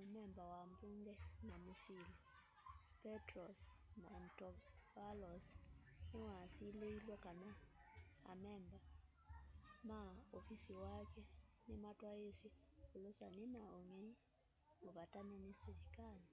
mumemba wa mbunge na musili petros mantovalos niwasilielwe kana amemba ma ufisi wake nimatwaiisye ulusani na ungei muvatane ni silikali